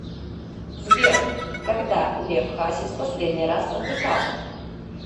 сбер когда лев хасис последний раз отдыхал